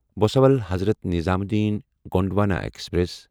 Bhusawal Hazrat Nizamuddin Gondwana express